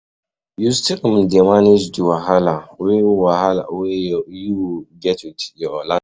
You still um dey manage di wahala wey wahala wey you get with your landlord?